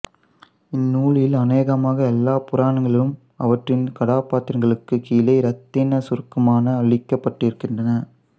இந்நூலில் அனேகமாக எல்லா புராணங்களும் அவற்றின் கதாபாத்திரங்களுக்குக் கீழே இரத்தினச் சுருக்கமாக அளிக்கப்பட்டிருக்கின்றன